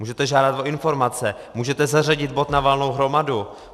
Můžete žádat o informace, můžete zařadit bod na valnou hromadu.